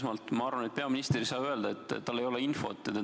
Esmalt ma arvan, et peaminister ei saa öelda, et tal ei ole infot.